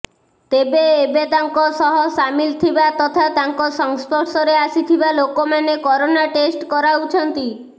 ତେବେ ଏବେ ତାଙ୍କ ସହ ସାମିଲ ଥିବା ତଥା ତାଙ୍କ ସଂସ୍ପର୍ଶରେ ଆସିଥିବା ଲୋକମାନେ କରୋନା ଟେଷ୍ଟ କରାଉଛନ୍ତି